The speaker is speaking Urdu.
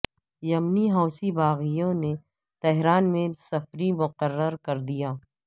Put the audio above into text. یمنی حوثی باغیوں نے تہران میں سفیر مقرر کردیا